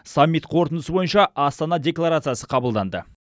саммит қорытындысы бойынша астана декларациясы қабылданды